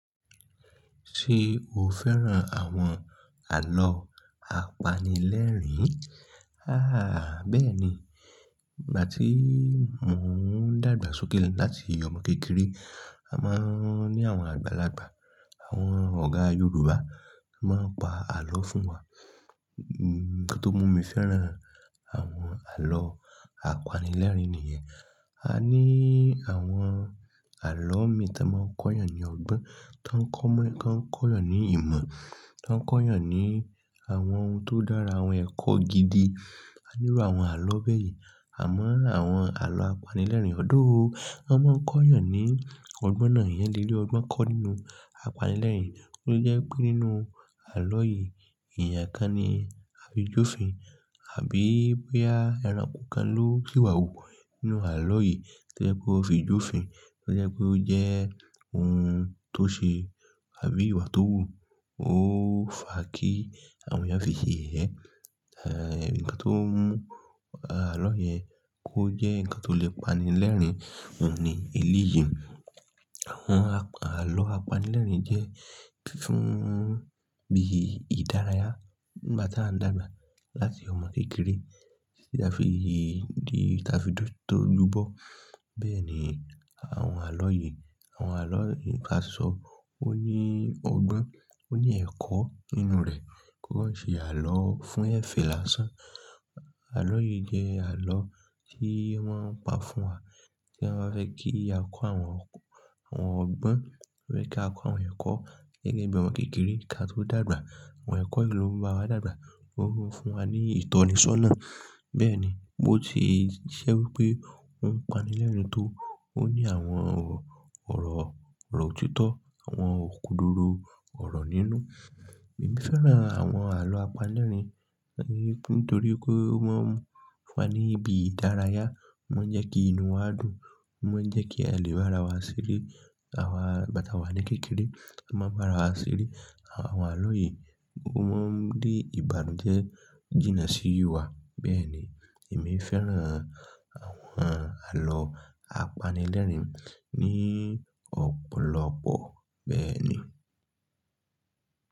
Ṣé o fẹ́ràn àwọn àlọ́ apanilẹ́rìn-ín? Háà, bẹ́ẹ̀ni. Ìgbà tí mò ń dàgbà sókè láti ọmọ kékeré, a máa ń ní àwọn àgbàlagbà, àwọn ọ̀gá Yorùbá máa ń pa ààlọ́ fún wa. Nǹkan tó mú mi fẹ́ràn àwọn àlọ́ apanilẹ́rìn-ín nìyẹn. A ní àwọn àlọ́ mi tán máa ń kọ́yàn ní ọgbọ́n, tó ń kọ́mọ́, tó ń kọ́yàn ní ìmọ̀, tó ń kọ́yàn ní àwọn ohun tó dára, àwọn ẹ̀kọ́ gidi. A nírú àwọn àlọ́ bẹ́ẹ̀ yẹn. Àmọ́ àwọn àlọ́ apanilẹ́rìn-ín ọ̀-dó o, wọ́n máa ń kọ́yàn ní ọgbọ́n náà èèyàn lé rí ọgbọ́n kọ́ nínú apanilẹ́rìn-ín. Ó jẹ́ wípé nínú àlọ́ yìí, èèyàn kan ni a fi jófin, àbí bóyá ẹranko kan ló sìwà wù nínú ààlọ́ yìí tó jẹ́ pé wọ́n ó fi jófin, tí ó jẹ́ pé ó jẹ́ ohun tó ṣe àbí ìwà tó wù. Ó fà á kí àwọn èèyàn fi ṣe yẹ̀yẹ́, ẹ nǹkan tó mú àlọ́ yẹn kó jẹ́ nǹkan tó lè pani lẹ́rìn-ín òun ni eléyìí. Àwọn àlọ́ apanilẹ́rìn-ín jẹ́ fún bí ìdárayá nígbà tí a ń dàgbà láti ọmọ kékeré títí tí a fi di tó ojúbọ. Bẹ́ẹ̀ ni àwọn àlọ́ yìí, àwọn àlọ́ yìí ká sọ ó ní ọgbọ́n, ó ní ẹ̀kọ́ nínú rẹ̀, kó ń ṣe àlọ́ fún ẹ́fẹ̀ lásán. Àlọ́ yìí jẹ́ àlọ́ tí wọ́n pa fún wa tí wọ́n bá fẹ́ kí a kọ́ àwọn, àwọn ọgbọ́n, ó yẹ́ kí á kọ́ àwọn ẹ̀kọ́ gẹ́gẹ́ bí ọmọ kékeré ká tó dàgbà. Àwọn ẹ̀kọ́ yìí ló máa bá wa dàgbà, ó ń fún wa ní ìtọ́nisọ́nà. Bẹ́ẹ̀ ni, bó ti jẹ́ wí pé ó ń pani lẹ́rìn-ín tó, ó ní àwọn ọ̀rọ̀, ọ̀rọ̀ òtítọ́, àwọn òkodoro ọ̀rọ̀ nínú. Èmi fẹ́ràn àwọn àlọ́ apanilẹ́rìn-ín nítorí kó o máa ń fún wa ní ibi ìdárayá, ó ma ń jẹ́ kí inú wa dùn, ó ma ń jẹ́ kí àlè bá ra wá ṣeré. Àwa, nígbàtí àwa ní kékeré, a máa ń bá ra wá ṣeré. Àwọn àlọ́ yìí gbogbo wọ́n rí ìbànújẹ́ jìnnà sí ìwà. Bẹ́ẹ̀ni èmi fẹ́ràn àwọn àlọ́ apanilẹ́rìn-ín ní ọ̀pọ̀lọpọ̀. Bẹ́ẹ̀nii.